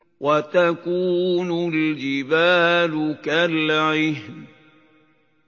وَتَكُونُ الْجِبَالُ كَالْعِهْنِ